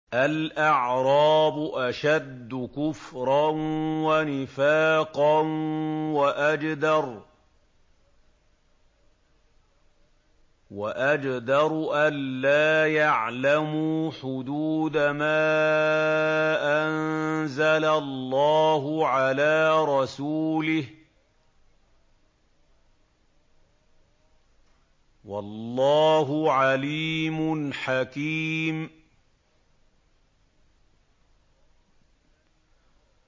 الْأَعْرَابُ أَشَدُّ كُفْرًا وَنِفَاقًا وَأَجْدَرُ أَلَّا يَعْلَمُوا حُدُودَ مَا أَنزَلَ اللَّهُ عَلَىٰ رَسُولِهِ ۗ وَاللَّهُ عَلِيمٌ حَكِيمٌ